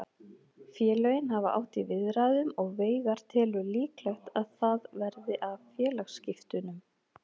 Félögin hafa átt í viðræðum og Veigar telur líklegt að það verði af félagaskiptunum.